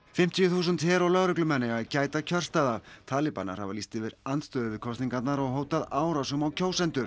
fimmtíu þúsund her og lögreglumenn eiga að gæta kjörstaða talibanar hafa lýst andstöðu við kosningarnar og hótað árásum á kjósendur